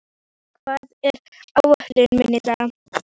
Fjarki, hvað er á áætluninni minni í dag?